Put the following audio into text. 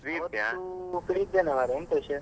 ಆವತ್ತು free ಇದ್ದೇನೆ ಮಾರ್ರೆ ಎಂತ ವಿಷಯ?